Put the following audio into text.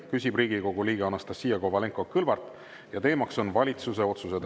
Küsib Riigikogu liige Anastassia Kovalenko-Kõlvart, teemaks on valitsuse otsused.